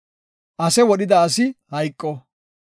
Ase wodhida asi hayqo.